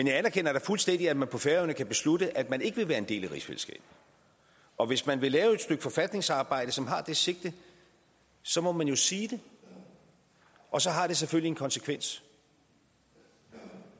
jeg anerkender da fuldstændig at man på færøerne kan beslutte at man ikke vil være en del af rigsfællesskabet og hvis man vil lave et stykke forfatningsarbejde som har det sigte så må man jo sige det og så har det selvfølgelig en konsekvens